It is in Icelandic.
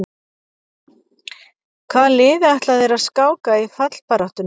Hvaða liði ætla þeir að skáka í fallbaráttunni?